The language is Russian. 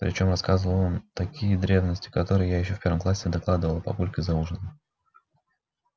причём рассказывал он такие древности которые я ещё в первом классе докладывала папульке за ужином